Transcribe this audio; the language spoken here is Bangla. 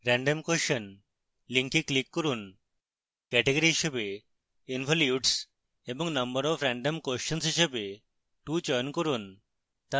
random question link click করুন category হিসাবে involutes এবং number of random questions হিসাবে 2 চয়ন করুন